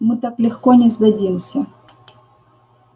мы так легко не сдадимся